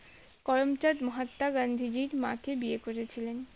করমচাঁদ মহাত্মা গান্ধীজির মাকে বিয়ে করেছিলেন